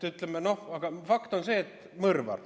Aga fakt on see, et ta on mõrvar.